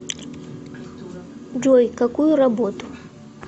джой какую работу